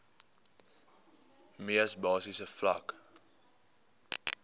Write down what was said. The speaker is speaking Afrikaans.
mees basiese vlak